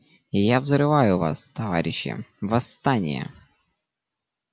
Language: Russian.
и я взрываю вас товарищи восстание